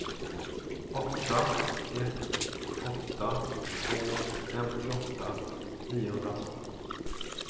åtta ett åtta två femtioåtta niohundratolv